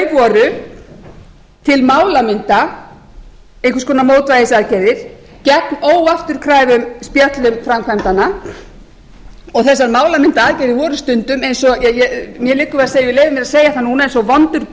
setti voru til málamynda einhvers konar mótvægisaðgerðir gegn óafturkræfum spjöllum framkvæmdanna og þessar málamyndaaðgerðir voru stundum eins og mér liggur við að segja ég leyfi mér að segja núna eins og vondur